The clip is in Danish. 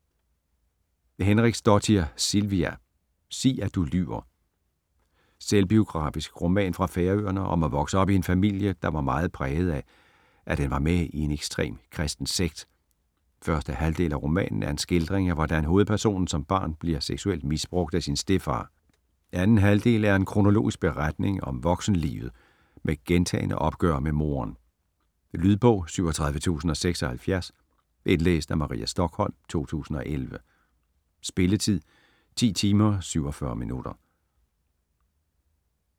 Henriksdóttir, Silvia: Sig at du lyver Selvbiografisk roman fra Færøerne om at vokse op i en familie, der var meget præget af, at den var med i en ekstrem kristen sekt. Første halvdel af romanen er en skildring af hvordan hovedpersonen som barn bliver seksuelt misbrugt af sin stedfar. Anden halvdel er en kronologisk beretning om voksenlivet med gentagne opgør med moderen. Lydbog 37076 Indlæst af Maria Stokholm, 2011. Spilletid: 10 timer, 47 minutter.